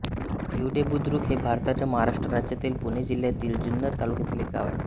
भिवडेबुद्रुक हे भारताच्या महाराष्ट्र राज्यातील पुणे जिल्ह्यातील जुन्नर तालुक्यातील एक गाव आहे